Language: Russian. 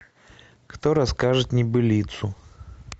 кто расскажет небылицу